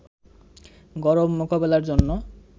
গরম মোকাবেলার জন্য